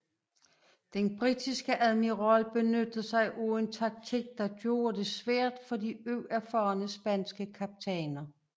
Den britiske admiral benyttede sig af en taktik der gjorde det svært for de uerfarne spanske kaptajner